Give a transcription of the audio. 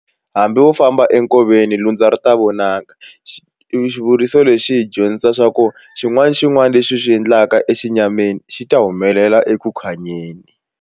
Hambi wo famba enkoveni lundza ri ta vonaka xivuriso lexi xi hi dyondzisa swa ku xin'wana na xin'wana lexi xi endlaka exinyamini xi ta humelela .